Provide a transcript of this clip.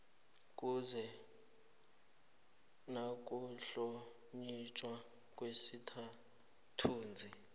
kuhle nokuhlonitjhwa kwesithunzi